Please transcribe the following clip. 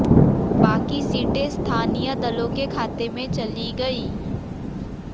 बाकी सीटें स्थानीय दलों के खाते में चली गईं